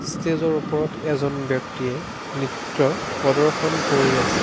ষ্টেজৰ ওপৰত এজন ব্যক্তিয়ে নৃত্য প্ৰদৰ্শন কৰি আছে।